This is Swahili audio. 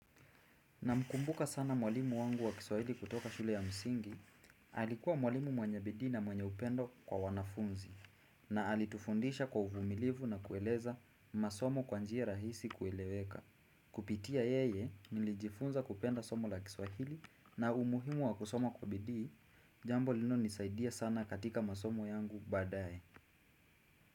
Namkumbuka sana mwalimu wangu wa Kiswahili kutoka shule ya msingi, alikuwa mwalimu mwenye bidii na mwenye upendo kwa wanafunzi na alitufundisha kwa uvumilivu na kueleza masomo kwa njia rahisi kueleweka. Kupitia yeye nilijifunza kupenda somo la Kiswahili na umuhimu wa kusoma kwa bidii, jambo linalonisaidia sana katika masomo yangu baadaye.